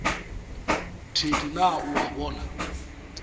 thedi na o a bona